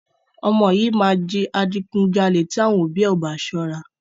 Ọmọ yìí máa di adigunjalè tí àwọn ọ̀bí ò bá sọ́ra.